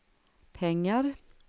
pengar